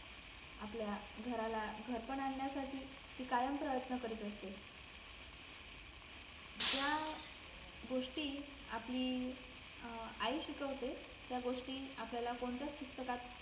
आपल्या घराला घरपण आणण्यासाठी ती कायम प्रयन्त करीत असते ज्या गोष्टी आपली अं आई शिकवते त्या गोष्टी आपल्याला कोणत्याच पुस्तकात